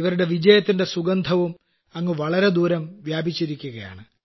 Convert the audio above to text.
ഇവരുടെ വിജയത്തിന്റെ സുഗന്ധവും അങ്ങു വളരെ ദൂരം വ്യാപിച്ചിരിക്കുകയാണ്